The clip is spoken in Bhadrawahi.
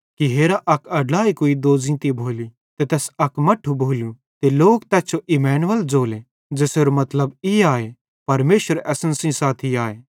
हेरा अक अड्लाई कुई पेटे भारी भोली ते तैस अक मट्ठू भोलू ते लोक तैस जो इम्‍मानुएल ज़ोले ज़ेसेरो मतलब ई आए परमेशर असन सेइं साथी आए